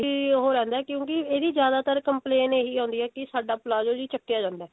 ਇਹੀ ਉਹ ਰਹਿੰਦਾ ਕਿਉਂਕਿ ਇਹਦੀ ਜਿਆਦਾਤਰ complaint ਇਹੀ ਆਉਂਦੀ ਹੈ ਕਿ ਸਾਡਾ palazzo ਜੀ ਚੱਕਿਆ ਜਾਂਦਾ